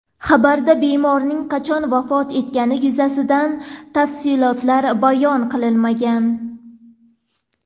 Xabarda bemorning qachon vafot etgani yuzasidan tafsilotlar bayon qilinmagan.